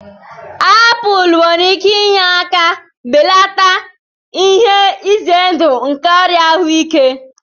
Apul nwere ike inye aka belata ihe ize ndụ nke ọrịa ahụike.